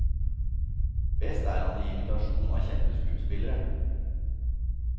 Best er han i imitasjon av kjente skuespillere.